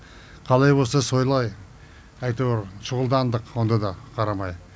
қалай болса сойлай әйтеуір шұғылдандық онда да қарамай